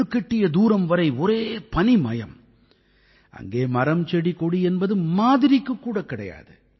கண்ணுக்கெட்டிய தூரம் வரை ஒரே பனிமயம் அங்கே மரம்செடிகொடி என்பது மாதிரிக்குக் கூட கிடையாது